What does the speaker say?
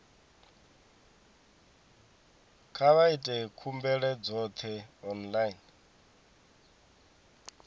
kha vha ite khumbelo dzoṱhe online